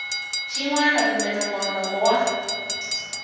xin wana kumbe nongonoko wa